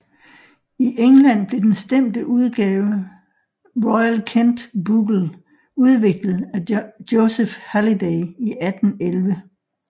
I England blev den stemte udgave Royal Kent bugle udviklet af Joseph Halliday i 1811